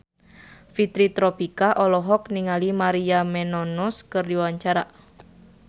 Fitri Tropika olohok ningali Maria Menounos keur diwawancara